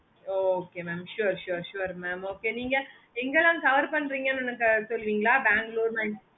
okay mam sure sure sure mam okay நீங்க எங்க எல்லாம் cover பண்றீங்க அபிடின்னு சொல்றீங்களா